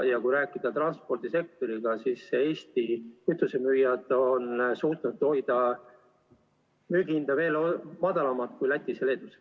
Ja kui rääkida transpordisektoriga, siis Eesti kütusemüüjad on suutnud hoida müügihinda veel madalamal kui Lätis ja Leedus.